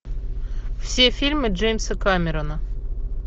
все фильмы джеймса кэмерона